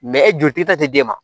e joli ti ta ti d'e ma